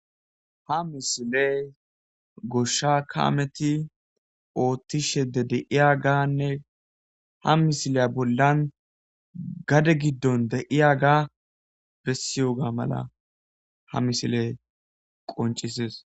Ha misiley goshsha kaameti oottishe de deiya ganne ha misiley bollan gade giddon deiya ga bessiyoga mala ha misiley qoncises.